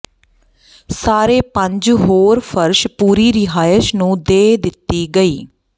ਸਾਰੇ ਪੰਜ ਹੋਰ ਫ਼ਰਸ਼ ਪੂਰੀ ਰਿਹਾਇਸ਼ ਨੂੰ ਦੇ ਦਿੱਤੀ ਗਈ